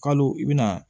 Kalo i bɛna